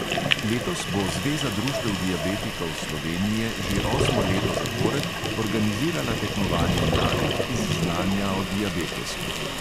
Letos bo zveza društev diabetikov slovenije že osmo leto zapored organizirala tekmovanje mladih iz znanja o diabetesu.